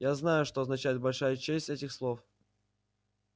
я знаю что означает большая часть этих слов